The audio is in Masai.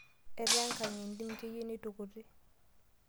Etaa enkang entim keyieu neitukuti.